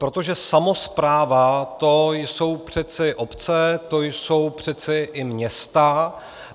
Protože samospráva, to jsou přece obce, to jsou přece i města.